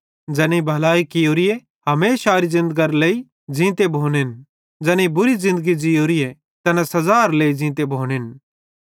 ज़ैनेईं भलाई कियोरीए हमेशारे ज़िन्दगरी लेइ ज़ींते भोनेन ज़ैनेईं बुरी ज़िन्दगी ज़ीयोरीए तैना सज़ारी लेइ ज़ींते भोनेन